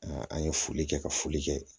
an ye foli kɛ ka foli kɛ